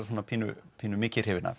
pínu pínu mikið hrifinn af